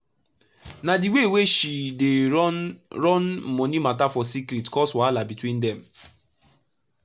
na d way wey she dey dey run moni mata for secret cause wahala between dem